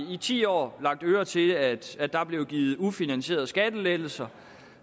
ti år lagt øre til at at der blev givet ufinansierede skattelettelser